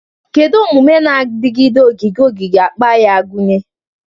Kedu omume na-adigide ogige ogige akpa ga-agụnye?